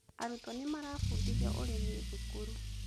Arutwo nĩ marabũndithio ũrĩmi thukuru